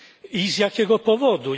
I z jakiego powodu?